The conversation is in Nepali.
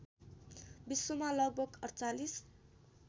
विश्वमा लगभग ४८